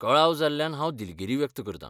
कळाव जाल्ल्यान हांव दिलगीरी व्यक्त करतां.